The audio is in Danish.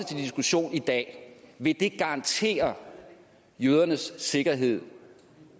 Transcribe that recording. til diskussion i dag garantere jødernes sikkerhed